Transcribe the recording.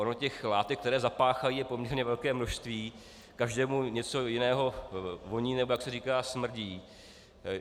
Ono těch látek, které zapáchají, je poměrně velké množství, každému něco jinému voní nebo, jak se říká, smrdí.